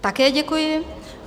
Také děkuji.